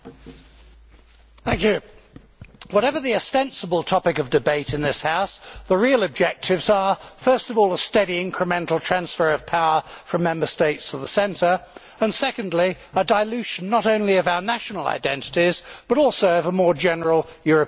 Mr President, whatever the ostensible topic of debate in this House, the real objectives are first of all a steady incremental transfer of power from Member States to the centre, and, secondly, a dilution, not only of our national identities, but also of a more general European identity.